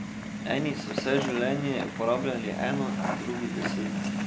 Eni so vse življenje uporabljali eno, drugi deset.